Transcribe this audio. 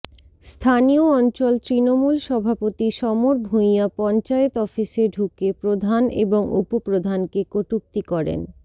স্থানীয় অঞ্চল তৃণমূল সভাপতি সমর ভুঁইয়া পঞ্চায়েত অফিসে ঢুকে প্রধান এবং উপপ্রধানকে কটূক্তি করেন